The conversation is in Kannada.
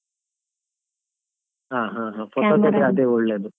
ಹಾ ಹಾ ಹಾ ಒಳ್ಳೇದು.